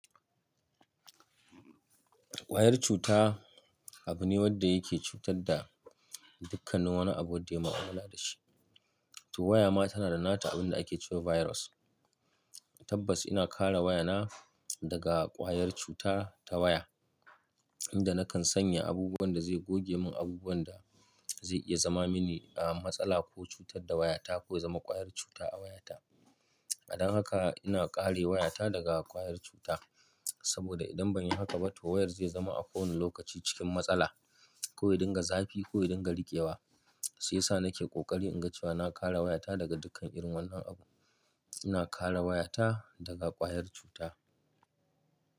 Ƙwayar cuta abu ne wanda yake cutar da dukkan wani abu wanda ya mua'amala da shi. To waya ma tana da nata abin da ake cewa virus. Tabbas ina kare wayana daga ƙwayar cuta ta waya, inda nakan sanya abubuwan da zai goge mun abubuwan da zai iya zama mini ehm masala ko cutar da wayata ko yazama ƙwayar cuta a wayata. Dan haka ina kare wayata daga ƙwayar cuta. Saboda idan ban yi haka ba to wayar zai zama a kowane lokaci cikin matsala ko yadinga zafi ko yadinga rikewa. Shi yasa nake ƙoƙari in ga cewa na kare wayata daga dukkan irin wannan abu. Ina kare wayata daga ƙwayar cuta.